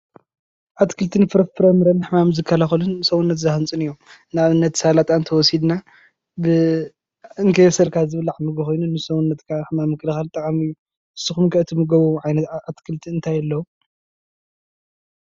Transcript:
ኣትክልትን ፍራምረን ንሕማም ዝከላከሉ ንሰዉነት ዝሃንፁን እዮም፡፡ ንኣብነት ሰላጣ እንተወሲድና እንከየብሰልካ ዝብላዕ ምግቢ ኮይኑ ንሱ ዉን ንሕማም ምክልካል ብጣዕሚ ጠቃሚ እዩ፡፡ ንስኩም እትምገብዎ ዓይነት ምግቢ ኣትክልቲ እንታይ ኣሎ?